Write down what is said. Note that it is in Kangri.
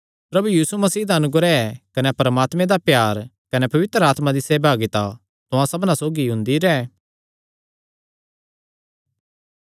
प्रभु यीशु मसीह दा अनुग्रह कने परमात्मे दा प्यार कने पवित्र आत्मा दी सेहभागिता तुहां सबना सौगी हुंदी रैंह्